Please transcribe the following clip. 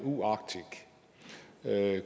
med